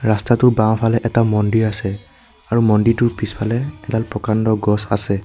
ৰাস্তাটোৰ বাওঁফালে এটা মন্দিৰ আছে আৰু মন্দিৰটোৰ পিছফালে এডাল প্ৰকাণ্ড গছ আছে।